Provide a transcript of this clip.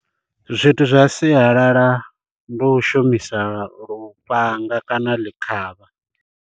Zwithu zwa siyalala ndi u shumisa lufhanga kana ḽikhavha.